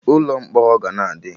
Ụlọ mkpọrọ ga na adị